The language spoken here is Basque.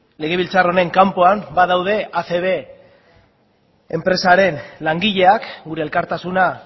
legebiltzar honen kanpoan badaude acb enpresaren langileak gure elkartasuna